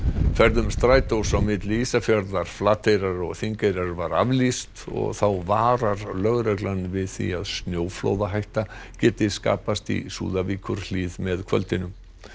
ferðum Strætós á milli Ísafjarðar Flateyrar og Þingeyrar var aflýst og þá varar lögreglan við því að snjóflóðahætta geti skapast í Súðavíkurhlíð með kvöldinu